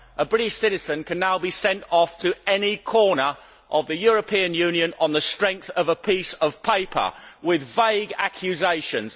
A British citizen can now be sent off to any corner of the European Union on the strength of a piece of paper with vague accusations.